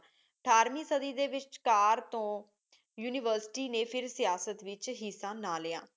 ਅਠਾਰਵੀਂ ਸਾਡੀ ਡੀ ਵਿਚ ਕਰ ਤੋ ਯੂਨੀਵਰਸਿਟੀ ਨੇ ਫੇਰ ਸਿਆਸਤ ਵਿਚ ਹਿੱਸਾ ਨਾ ਲ੍ਯ